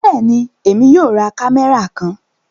Bẹẹni, Èmi yóò rá kámẹ́rà kàn